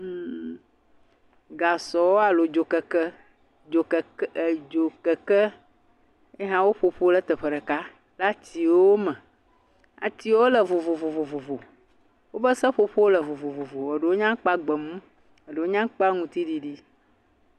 mmm..gasɔ alo dzokeke, dzokeke, ye hã woƒoƒu le teƒe ɖeka le atiwo me. Atiwo le vovovo, wobe seƒoƒowo le vovovovo, eɖewo nye aŋkpa gbemu, eɖewo nye aŋkpa aŋutiɖiɖi.